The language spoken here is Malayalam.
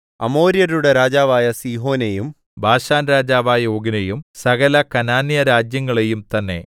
അമോര്യരുടെ രാജാവായ സീഹോനെയും ബാശാൻരാജാവായ ഓഗിനെയും സകല കനാന്യരാജ്യങ്ങളെയും തന്നെ